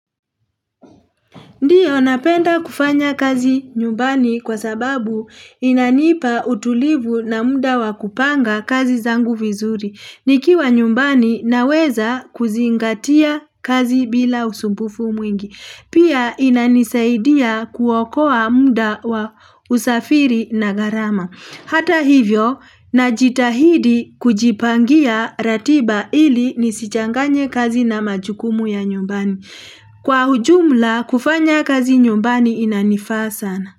Ndiyo napenda kufanya kazi nyumbani kwa sababu inanipa utulivu na muda wa kupanga kazi zangu vizuri. Nikiwa nyumbani naweza kuzingatia kazi bila usumbufu mwingi. Pia inanisaidia kuokoa muda wa usafiri na gharama. Hata hivyo, najitahidi kujipangia ratiba ili nisichanganye kazi na majukumu ya nyumbani. Kwa ujumla, kufanya kazi nyumbani inanifaa sana.